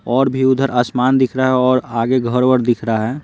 और भी उधर आसमान दिख रहा है और आगे घर-उर दिख रहा है।